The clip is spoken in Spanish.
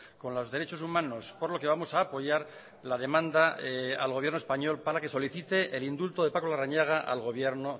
con los derechos humanos por lo que vamos a apoyar la demanda al gobierno español para que solicite el indulto de paco larrañaga al gobierno